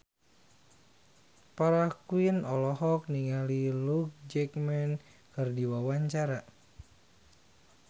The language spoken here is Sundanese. Farah Quinn olohok ningali Hugh Jackman keur diwawancara